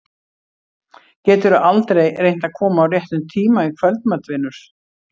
Geturðu aldrei reynt að koma á réttum tíma í kvöldmat, vinur?